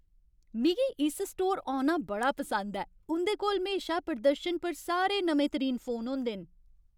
मिगी इस स्टोर औना बड़ा पसंद ऐ। उं'दे कोल म्हेशा प्रदर्शन पर सारे नमेंतरीन फोन होंदे न।